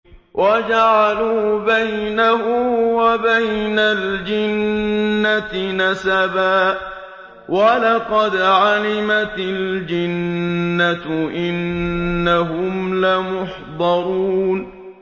وَجَعَلُوا بَيْنَهُ وَبَيْنَ الْجِنَّةِ نَسَبًا ۚ وَلَقَدْ عَلِمَتِ الْجِنَّةُ إِنَّهُمْ لَمُحْضَرُونَ